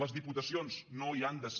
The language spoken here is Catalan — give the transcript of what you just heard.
les diputacions no hi han de ser